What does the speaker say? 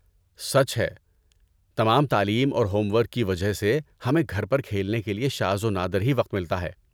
سچ ہے، تمام تعلیم اور ہوم ورک کی وجہ سے ، ہمیں گھر پر کھیلنے کے لیے شاذ و نادر ہی وقت ملتا ہے۔